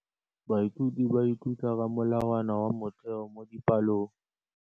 Baithuti ba ithuta ka molawana wa motheo mo dipalong.